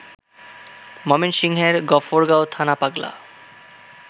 ময়মনসিংহের গফরগাঁও থানা পাগলা